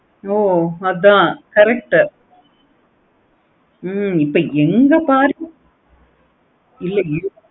ஓ அதான் correct ஹம் இப்போ எங்க பாரு